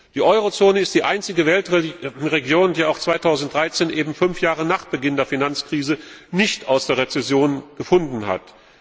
Die Eurozone ist die einzige Weltregion, die auch 2013 eben fünf Jahre nach Beginn der Finanzkrise nicht aus der Rezession gefunden hat.